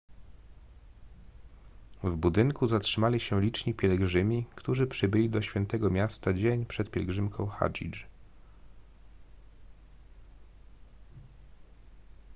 w budynku zatrzymali się liczni pielgrzymi którzy przybyli do świętego miasta dzień przed pielgrzymką hadżdż